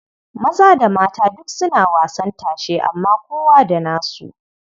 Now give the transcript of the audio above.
Maza da mata duk suna wasan tashe amma kowa da nasu.